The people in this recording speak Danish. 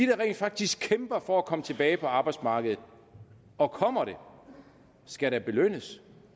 der rent faktisk kæmper for at komme tilbage på arbejdsmarkedet og kommer det skal da belønnes